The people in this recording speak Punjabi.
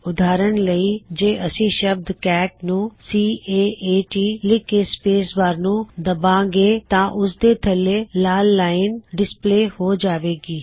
ਉਦਾਹਰਨ ਲਈ ਜੇ ਅਸੀ ਸ਼ਬਦ ਕੈਟ ਨੂੰ ਸੀ ਏ ਏ ਟੀ ਲਿੱਖ ਕੇ ਸਪੇਸ ਬਾਰ ਨੂੰ ਦਬਾਂ ਗੇ ਤਾਂ ਓਸ ਦੇ ਥੱਲੇ ਲਾਲ ਲਾਇਨ ਡਿਸਪਲੇ ਹੋ ਜਾਵੇ ਗੀ